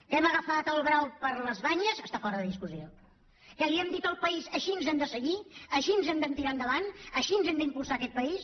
que hem agafat el brau per les banyes està fora de discussió que li hem dit al país així hem de seguir així hem de tirar endavant així hem d’impulsar aquest país